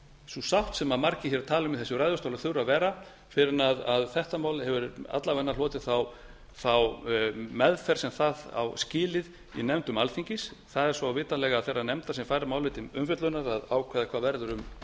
sú sátt sem margir hér tala um í þessum ræðustól að þurfi að vera fyrr en þetta mál hefur alla vega hlotið þá meðferð sem það á skilið í nefndum alþingis það er svo vitanlega þeirrar nefndar sem fær málið til umfjöllunar að ákveða hvað verður um